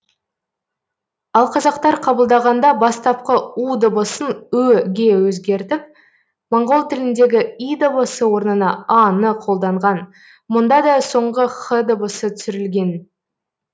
ал қазақтар қабылдағанда бастапқы у дыбысын ө ге өзгертіп моңғол тіліндегі и дыбысы орнына а ны қолданған мұнда да соңғы х дыбысы түсірілген